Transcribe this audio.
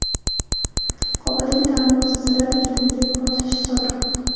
Qobuldagi ta’lim muassasalarida ketma-ket portlashlar sodir bo‘ldi.